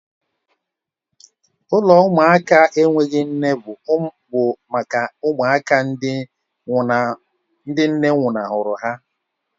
Ụlọ ụmụaka na-enweghị nne bụ maka ụmụaka ndị nne nwụnahụrụ ha